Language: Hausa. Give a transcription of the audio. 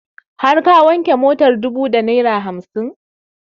Har ka wanke motar dubu da naira hamsin?